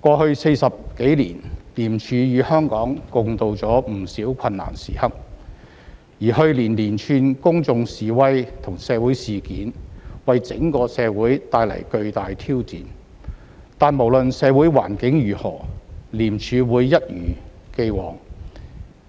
過去40多年，廉署與香港共渡了不少困難時刻，而去年連串公眾示威和社會事件為整個社會帶來巨大挑戰，但無論社會環境如何，廉署會一如以往，